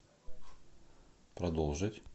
продолжить